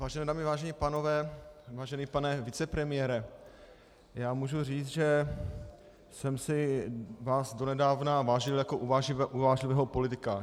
Vážené dámy, vážení pánové, vážený pane vicepremiére, já můžu říct, že jsem si vás donedávna vážil jako uvážlivého politika.